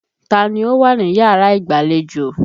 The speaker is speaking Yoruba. Ta ni ó wà níyàrá ìgbàlejò?